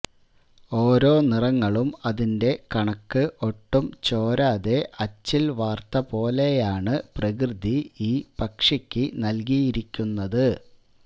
ഓരോ നിറങ്ങളും അതിന്റെ കണക്ക് ഒട്ടും ചോരാതെ അച്ചില് വാര്ത്ത പോലെയാണ് പ്രകൃതി ഈ പക്ഷിയ്ക്ക് നല്കിയിരിക്കുന്നത്